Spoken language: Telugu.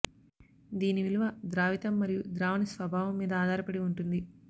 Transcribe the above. దీని విలువ ద్రావితం మరియు ద్రావణి స్వభావం మీద ఆధారపడి ఉంటుంది